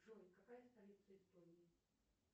джой какая столица эстонии